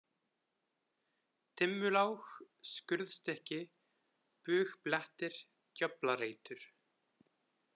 Dimmulág, Skurðstykki, Bugblettir, Djöflareitur